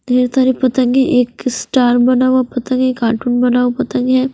ढेर सारी पतंगे एक स्टार बना हुआ पतंग है एक कार्टून बना हुआ पतंग है।